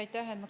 Aitäh!